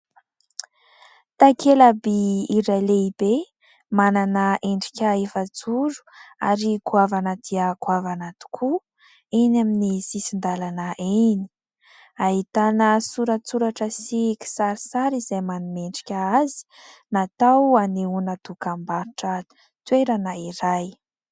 Takela-by iray lehibe manana endrika efajoro ary goavana dia goavana tokoa eny amin'ny sisin-dàlana eny, ahitana soratsoratra sy kisarisary izay manome endrika azy ; natao hanehoana dokam-barotra toerana iray.